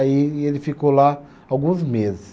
Aí e ele ficou lá alguns meses.